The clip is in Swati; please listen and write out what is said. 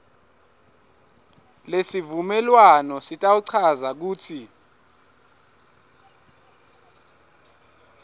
lesivumelwano sitawuchaza kutsi